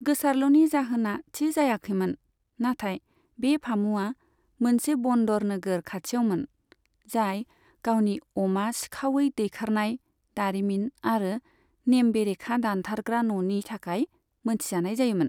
गोसारलुनि जाहोना थि जायाखैमोन, नाथाय बे फामुआ मोनसे बन्दर नोगोर खाथियावमोन, जाय गावनि अमा सिखावै दैखारनाय दारिमिन आरो नेम बेरेखा दानथारग्रा न'नि थाखाय मोनथिजानाय जायोमोन।